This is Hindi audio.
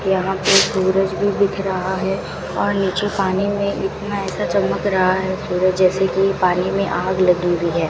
यहां पे सूरज भी दिख रहा है और नीचे पानी में इतना ऐसा चमक रहा है सूरज जैसे की पानी में आग लगी हुई है।